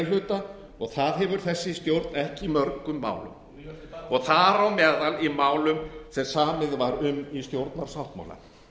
hluta og það gefur þessi stjórn ekki í mörgum málum og þar á meðal í málum sem samið var um í stjórnarsáttmála